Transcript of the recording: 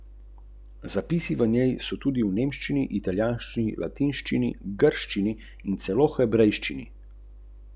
Nato se je spet zvedrila.